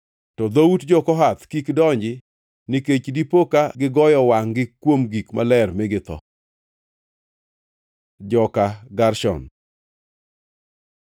To dhout jo-Kohath kik donji nikech dipo ka gigoyo wangʼ-gi kuom gik maler mi githo.” Joka Gershon